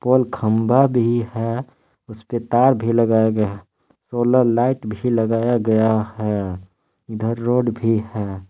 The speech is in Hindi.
और खंबा भी है उसपे तार भी लगाया गया सोलर लाइट भी लगाया गया है इधर रोड भी है।